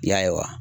I y'a ye wa